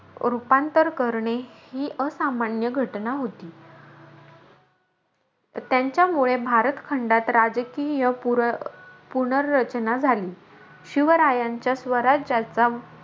रूपांतर करणे ही असामान्य घटना होती. त्यांच्यामुळे भारत खंडात राजकीय पुर पुनर्रचना झाली. शिवरायांच्या स्वराज्याच्या,